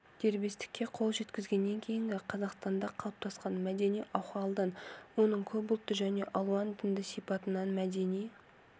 дербестікке қол жеткізгеннен кейінгі қазақстанда қалыптасқан мәдени ахуалдан оның көпұлтты және алуан дінді сипатынан мәдени